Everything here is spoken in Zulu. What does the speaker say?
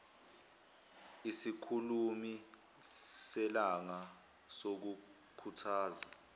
isikhulumi selanga sokukhuthaza